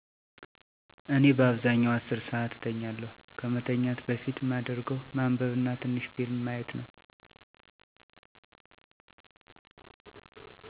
እኔ በአብዛኛው 10 ሰዓት እተኛለሁ፣ ከመተኛት በፊት ማደርገው ማንበብ እና ትንሽ ፊልም ማየት ነው።